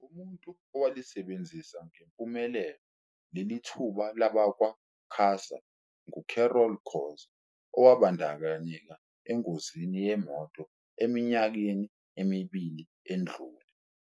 Umuntu owalisebenzisa ngempumelelo lelithuba labakwa-QASA ngu-Carol Khoza, owabandakanyeka engozini yemoto eminyakeni emibili edlule.